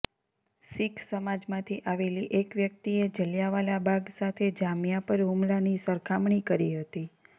શીખ સમાજમાંથી આવેલી એક વ્યક્તિએ જલિયાંવાલા બાગ સાથે જામિયા પર હુમલાની સરખામણી કરી હતી